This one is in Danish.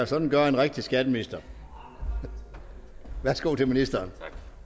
sådan gør en rigtig skatteminister værsgo til ministeren